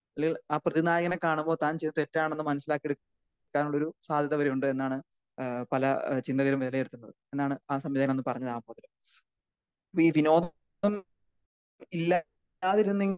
അല്ലെങ്കിൽ ആ പ്രതി നായകനെ കാണുമ്പോൾ താൻ ചെയ്തത് തെറ്റാണെന്ന് മനസ്സിലാക്കി എടുക്കാനുള്ള ഒരു സാധ്യത വരെ ഉണ്ട് എന്നാണ് ഏഹ് പല ചിന്തകരും വിലയിരുത്തുന്നത് എന്നാണ് ആ സംവിധായകൻ പറഞ്ഞു കാണുന്നത്. അപ്പോ ഈ വിനോദം ഇല്ലാതിരു.